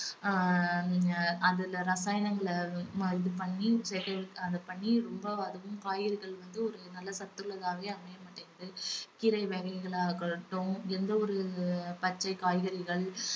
ஆஹ் அதுல ரசாயனங்கள ம~ இது பண்ணி அது பண்ணி ரொம்ப அதுவும் காய்கறிகள் வந்து ஒரு நல்ல சத்து உள்ளதாகவே அமையமாட்டேங்குது கீரை வகைகள் ஆகட்டும் எந்த ஒரு பச்சை காய்கறிகள்